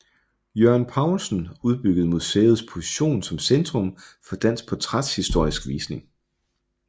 Jørgen Paulsen udbyggede museets position som centrum for dansk portrætshistorisk forskning